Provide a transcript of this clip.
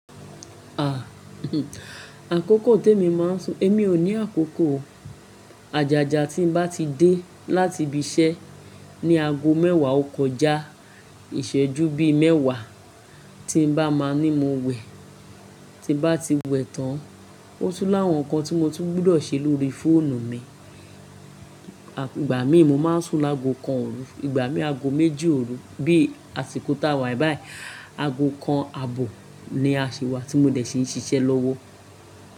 Àkókò ti èmi máa ń sùn, èmi ò ní àkókò o. Àjàjà tí n bá ti dé láti ibi iṣẹ́ ní ago mẹ́wàá ọkọ̀já, ìṣẹ́jú bíi mẹ́wàá tí n bá máa ní mo wẹ̀, tí n bá ti wẹ̀ tán, ó tún láwọn nǹkan tí mo tún gbọdọ̀ ṣe lórí fóònù mi. Ìgbà mí ì mo máa ń sùn láago kan òru, ìgbà mií àgo méjì òru, bí i àsìkò táa wà báyìí, àgo kan àbọ̀ ni aṣiwá tí mo dẹ̀ ṣi ń ṣiṣẹ́ lọ́wọ́